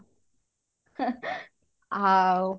ଆଉ